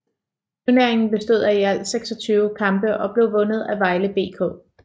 Turneringen bestod af i alt 26 kampe og blev vundet af Vejle BK